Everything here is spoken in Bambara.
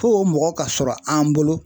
Fo o mɔgɔ ka sɔrɔ an bolo